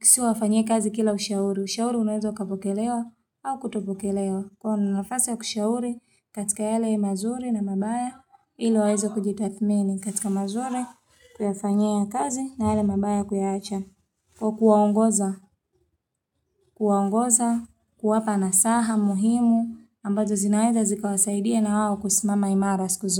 sio wafanyie kazi kila ushauri. Ushauri unaweza ukapokelewa au kutopokelewa. Kwa nafasi kushauri katika yale mazuri na mabaya, ili waweze kujitathmini katika mazuri, kuyafanyia kazi na yale mabaya kuyacha. Kwa kuwaongoza, kuwaongoza, kuwapa nasaha muhimu, ambazo zinaweza zikawasaidia nawao kusimama imara siku zote.